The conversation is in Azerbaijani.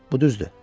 Bu düzdür.